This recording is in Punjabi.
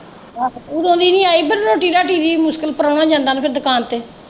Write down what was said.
ਆਹੋ ਉਦੋਂ ਦੀ ਨੀ ਆਈ ਪਰ ਰੋਟੀ ਰਾਟੀ ਦੀ ਮੁਸ਼ਕਿਲ, ਪ੍ਰਾਹੁਣਾ ਜਾਂਦਾ ਉਹਨੂੰ ਕਹਿ ਦੁਕਾਨ ਤੇ।